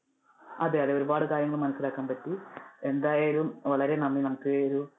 അതെ അതെ ഒരുപാട് കാര്യങ്ങൾ മനസിലാക്കാൻ പറ്റി, എന്തായാലും വളരെ നന്ദി നമുക്ക് ഈ ഒരു